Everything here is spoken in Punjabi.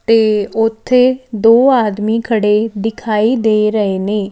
ਤੇ ਉੱਥੇ ਦੋ ਆਦਮੀ ਖੜੇ ਦਿਖਾਈ ਦੇ ਰਹੇ ਨੇ --